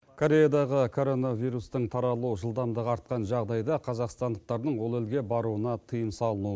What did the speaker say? кореядағы короновирустың таралу жылдамдығы артқан жағдайда қазақстандықтардың ол елге баруына тыйым салынуы